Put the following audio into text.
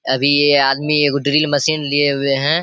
अभी ये आदमी एगो ड्रिल मशीन लिए हुए हैं।